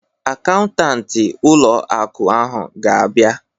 Akaụntanti ụlọ akụ ahụ ga-abịa